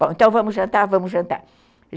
Bom, então vamos jantar, vamos jantar.